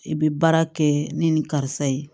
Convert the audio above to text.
I bɛ baara kɛ ni nin karisa ye